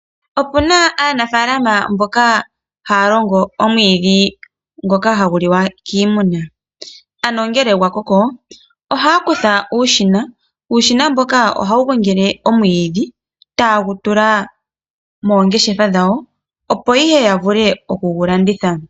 Opuna aanafaalama mboka haya longo omwiidhi ngoka hagu liwa kiimuna. Ano ngele gwakoko ohaya kutha uushina, nuushina mbuka ohawu gongele omwiidhi taye gu tula moongeshefa dhawo opo ihe yavule oku gulanditha.